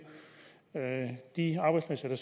de arbejdspladser der